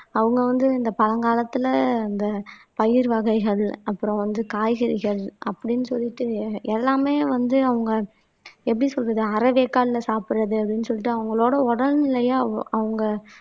அவங்க வந்து இந்த பழங்காலத்துல இந்த பயிர் வகைகள் அப்புறம் வந்து காய்கறிகள் அப்படின்னு சொல்லிட்டு எல்லாமே வந்து அவங்க எப்படி சொல்றது அரை வேக்காட்ல சாப்பிடுறது அப்படின்னு சொல்லிட்டு அவங்களோட உடல்நிலையை அவு அவங்க